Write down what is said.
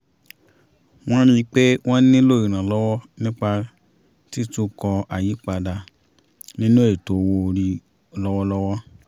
wọ́n rí i pé wọ́n nílò ìràlọ́wọ́ nípa títukọ̀ àyípadà nínú ètò owó orí lọ́wọ́lọ́wọ́